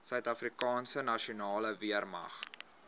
suidafrikaanse nasionale weermag